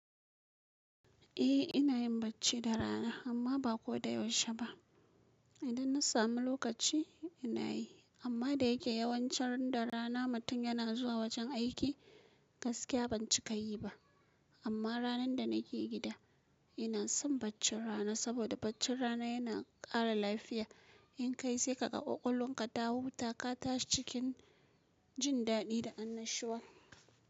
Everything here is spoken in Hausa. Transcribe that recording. Eh ina yin bacci da rana amma ba ko da yaushe ba. Idan na samu lokaci, ina yi amma da yake yawancin ran da rana mutum yana zuwa wajen aiki, gaskiya ban cika yi ba. Amma ranar da na ke gida, ina son baccin rana saboda baccin rana yana kara lafiya. In ka yi sai ka ga ƙwaƙwanka ta huta ka tashi cikin jin daɗi da annashuwa.